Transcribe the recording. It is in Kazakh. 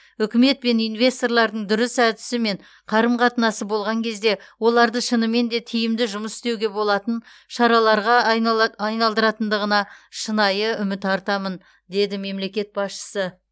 үкімет пен инвесторлардың дұрыс әдісі мен қарым қатынасы болған кезде оларды шынымен де тиімді жұмыс істеуге болатын шараларға айнала айналдыратындығына шынайы үміт артамын деді мемлекет басшысы